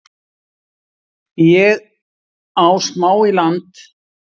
Ég á smá í land